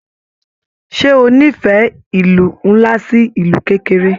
Ṣe o n'ifẹ ìlú nlá sí ìlú kékeré?